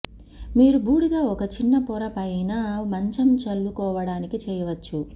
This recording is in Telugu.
మీరు బూడిద ఒక చిన్న పొర పైన మంచం చల్లుకోవటానికి చేయవచ్చు